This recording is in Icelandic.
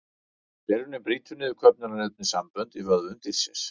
Gerjunin brýtur niður köfnunarefnissambönd í vöðvum dýrsins.